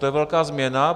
To je velká změna.